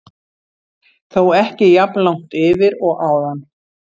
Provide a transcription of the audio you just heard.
Þó ekki jafn langt yfir og áðan.